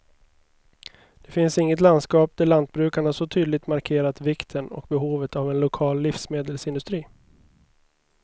Det finns inget landskap där lantbrukarna så tydligt markerat vikten och behovet av en lokal livsmedelsindustri.